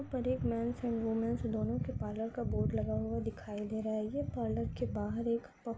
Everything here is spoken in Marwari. ऊपर एक मेन्स एण्ड वूमेनस दोनों के पार्लर का बोर्ड लगा हुआ दिखाई दे रहा है ये पार्लर के बाहर एक प --